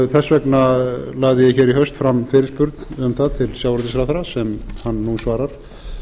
þess vegna lagði ég hér í haust fram fyrirspurn um það til sjávarútvegsráðherra sem hann nú svarar